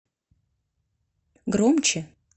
громче